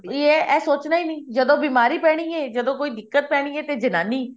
ਇਹ ਸੋਚਣਾ ਹੀ ਨੀ ਜਦੋਂ ਬਿਮਾਰੀ ਪੈਣੀ ਹੈ ਜਦੋਂ ਕੋਈ ਦਿੱਕਤ ਪੈਣੀ ਹੈ ਤਾਂ ਜਨਾਨੀ